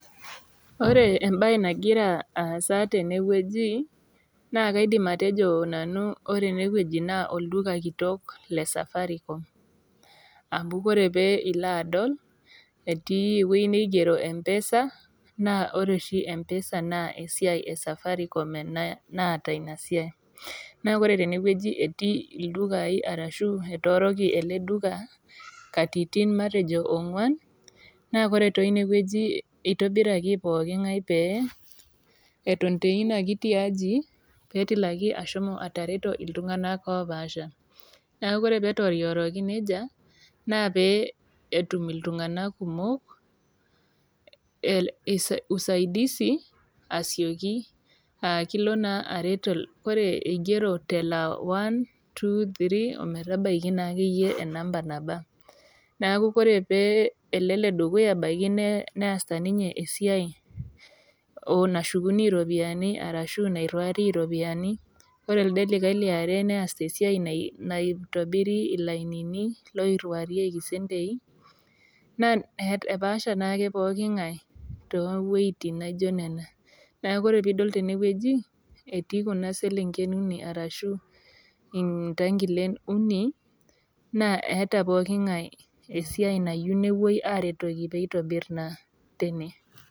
Ore embaye nagira aasa tenewueji naa kaidim atejo nanu ore ene wueji naa olduka kitok le safaricom ama kore pee ilo adol etii ewueji neigero mpesa naa kore oshi mpesa naa esiai e safaricom naata ina siai naa kore tenewueji naa etii ildukai arashu etooroki ele duka katitin matejo ong'wan naa kore teine wueji itobiraki pooki ngae pee eton teina kiti aji pee utumoki ashomo atareto iltung'anak opaasha neaku ore pee etootiworoki nijia naa pee etum itung'anak kumok usaidisi asioki aa ilo naa aret ore ene igero 123 ometabaiki naa akeyie enamba neaku ore ele le dukuya nebaiki niasita ninye esiai nashukuni iropiyiani arashu nairiwarie ilopiyiani ore ele likae liare neasita esiai naitobiri ilainini oiriwarieki sentei naa apaasha naa ake pooki ng'ae too wuejin naijo nena neaku kore pee idol tenewueji etii kuna selenk uni arashu ntakilen uni neata pookie ng'ae esiai nayiu napuoi aretoki pee itobiri teine